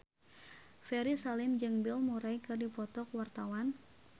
Ferry Salim jeung Bill Murray keur dipoto ku wartawan